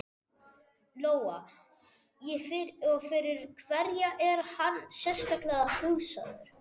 Lóa: Og fyrir hverja er hann sérstaklega hugsaður?